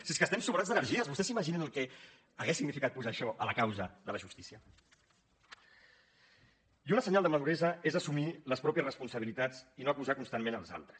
si és que estem sobrats d’energia vostès s’imaginen el que hauria significat posar això a la causa de la justícia i un senyal de maduresa és assumir les pròpies responsabilitats i no acusar constantment els altres